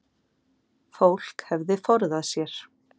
Fólk hefði forðað sér